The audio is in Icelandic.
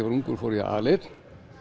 var ungur fór ég aleinn